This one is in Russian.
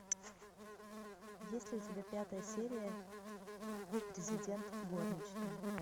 есть ли у тебя пятая серия президент горничная